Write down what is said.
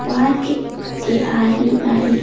park के आरी आरी--